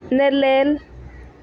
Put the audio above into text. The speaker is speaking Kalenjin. Ne lel